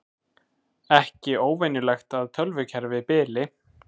Ekki óvenjulegt að tölvukerfi bili